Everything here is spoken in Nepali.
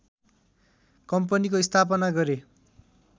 कम्पनीको स्थापना गरे